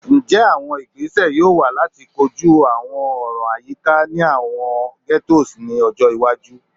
Njẹ awọn igbese yoo wa lati koju awọn ọran ayika ni awọn ghettos iwaju?